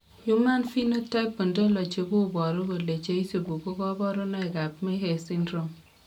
Human Phenotype Ontology koboru kole cheisubi ko kabarunoik ab Mehes Syndrome